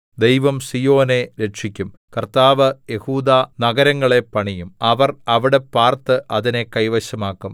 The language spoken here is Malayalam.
ദൈവം സീയോനെ രക്ഷിക്കും കർത്താവ് യെഹൂദാനഗരങ്ങളെ പണിയും അവർ അവിടെ പാർത്ത് അതിനെ കൈവശമാക്കും